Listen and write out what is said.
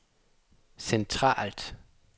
centralt